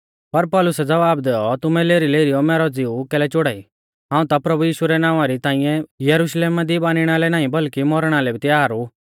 पर पौलुसै ज़वाब दैऔ तुमै लेरीलेरीयौ मैरौ ज़िऊ कैलै चोड़ाई हाऊं ता प्रभु यीशु रै नावां री ताइंऐ यरुशलेमा दी बानिणा लै नाईं बल्कि मौरणा लै भी तयार ऊ